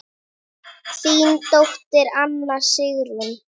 Þín dóttir, Anna Sigrún.